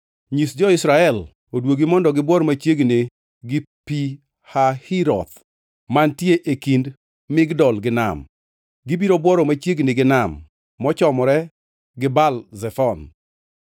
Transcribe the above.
“Nyis jo-Israel oduogi mondo gibuor machiegni gi Pi Hahiroth mantie e kind Migdol gi nam. Gibiro bworo machiegni gi nam, mochomore gi Baal Zefon.